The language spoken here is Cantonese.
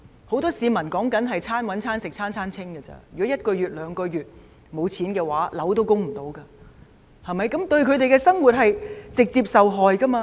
很多市民是手停口停的，如果一個月、兩個月也沒收入的話，供樓也可能負擔不來，他們的生活將會直接受害。